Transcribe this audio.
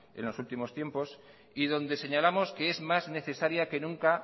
en los últimos tiempos y donde señalamos que es más necesaria que nunca